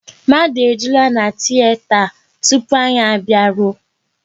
Mmadụ ejulaa na tiyeta tupu anyị a bịaruo